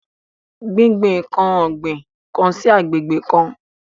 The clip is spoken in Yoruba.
Gbingbin nkan o gbin kan sí agbègbè kan.